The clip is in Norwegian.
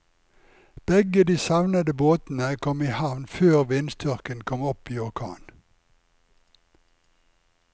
Begge de savnede båtene kom i havn før vindstyrken kom opp i orkan.